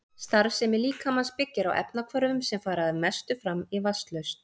Starfsemi líkamans byggir á efnahvörfum sem fara að mestu fram í vatnslausn.